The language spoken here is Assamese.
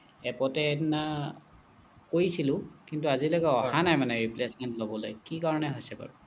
এপতে সেই দিনা কৰিছিলোঁ কিন্তু আজি লৈকে অহা নাই replacement টো ল'বলৈ কি কাৰণে হৈছে বাৰু